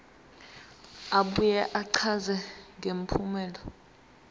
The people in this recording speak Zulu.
abuye achaze ngempumelelo